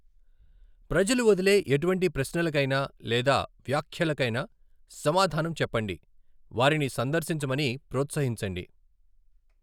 ప్రజలు వదిలే ఎటువంటి ప్రశ్నలకైనా లేదా వ్యాఖ్యలకైనా సమాధానం చెప్పండి, వారిని సందర్శించమని ప్రోత్సహించండి.